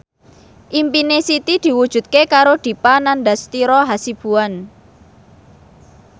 impine Siti diwujudke karo Dipa Nandastyra Hasibuan